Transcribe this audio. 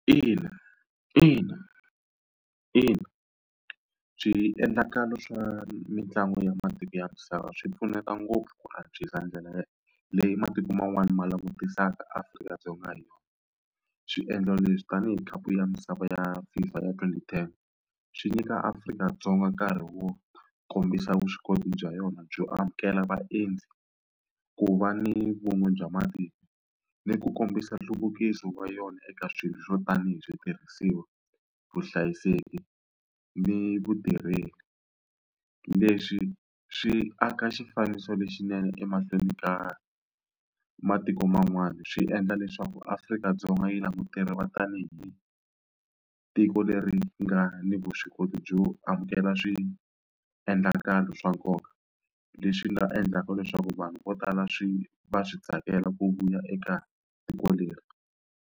Ina ina ina swiendlakalo swa mitlangu ya matiko ya misava swi pfuneta ngopfu ku antswisa ndlela leyi matiko man'wana ma langutisaka Afrika-Dzonga hi yona swiendlo leswi tanihi khapu ya misava ya FIFA ya twenty ten swi nyika Afrika-Dzonga nkarhi wo kombisa vuswikoti bya yona byo amukela vaendzi ku va ni vun'we bya matiko ni ku kombisa nhluvukiso wa yona eka swilo swo tanihi switirhisiwa vuhlayiseki ni vutirheli leswi swi aka xifaniso lexinene emahlweni ka matiko man'wana swi endla leswaku Afrika-Dzonga yi tanihi tiko leri nga ni vuswikoti byo amukela swiendlakalo swa nkoka leswi nga endlaka leswaku vanhu vo tala swi va swi tsakela ku vuya eka tiko leri.